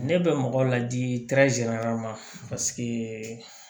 Ne bɛ mɔgɔw ladi